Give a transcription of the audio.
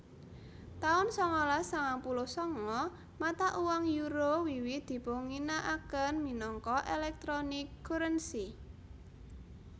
taun sangalas sangang puluh sanga Mata uang Euro wiwit dipunginakaken minangka electronic currency